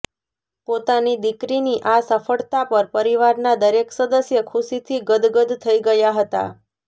પોતાની દીકરીની આ સફળતા પર પરિવારના દરેક સદસ્ય ખુશીથી ગદગદ થઇ ગયા હતા